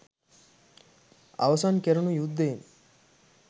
අවසන් කෙරුණු යුද්ධයෙන්